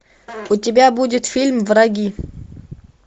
у тебя будет фильм враги